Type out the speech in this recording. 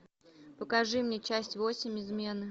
покажи мне часть восемь измены